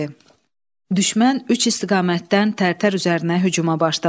Düşmən üç istiqamətdən Tərtər üzərinə hücuma başladı.